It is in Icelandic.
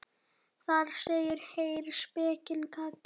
Þar segir: Heyr, spekin kallar.